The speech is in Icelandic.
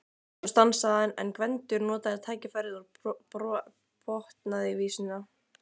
Svo stansaði hann en Gvendur notaði tækifærið og botnaði vísuna: